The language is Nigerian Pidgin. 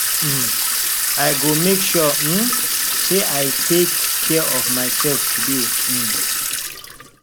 um i go make sure um say i take care of myself today um